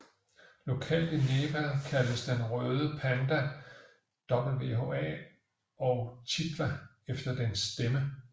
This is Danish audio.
Lokalt i Nepal kaldes den røde panda wha og chitwa efter dens stemme